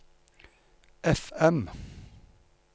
FM